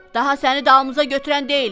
Daha səni dalımıza götürən deyilik.